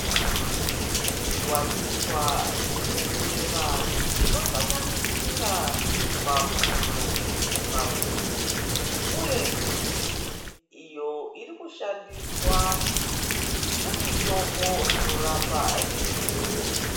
Zviwanikwa zvinomera zvinosanganisira mapundo makwenzi uye miti iyo irikushandiswa semitombo inorapa zvirwere.